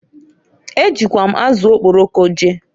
E jikwa m azụ okporoko jee.